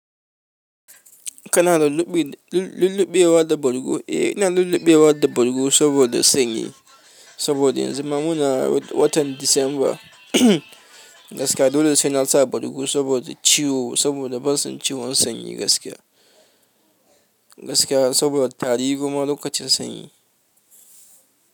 Kana da lulluɓewa da bargo? Eh, ina lulluɓewa da bargo saboda sanyi. Saboda yanzu ma muna watan Disamba gaskiya. Dole sai na sa bargo saboda ciwo, saboda ban son ciwon sanyi gaskiya. Gaskiya saboda tari kuma lokacin sanyi.